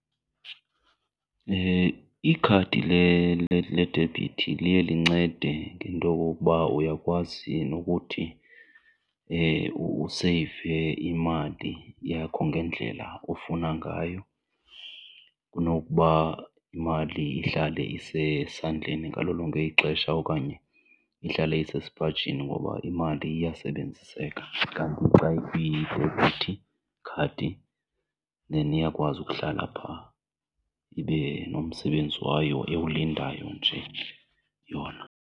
Ikhadi ledebhithi liye lincede ngento okokuba uyakwazi nokuthi useyive imali yakho ngendlela ofuna ngayo kunokuba imali ihlale isesandleni ngalo lonke ixesha okanye ihlale isesipajini ngoba imali iyasebenziseka. Kanti xa ikwi-debhithi khadi then iyakwazi ukuhlala pha ibe nomsebenzi wayo ewulindayo nje yona.